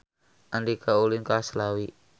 Andika ulin ka Slawi